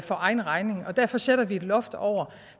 for egen regning og derfor sætter vi et loft over